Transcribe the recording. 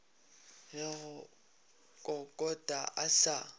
le go kokota a sa